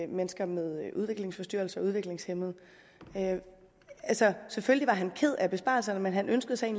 mennesker med udviklingsforstyrrelser og udviklingshæmmede altså selvfølgelig var han ked af besparelserne men han ønskede sig